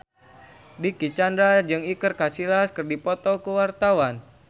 Dicky Chandra jeung Iker Casillas keur dipoto ku wartawan